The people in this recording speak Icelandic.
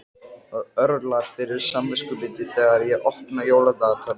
Það örlar fyrir samviskubiti þegar ég opna jóladagatalið.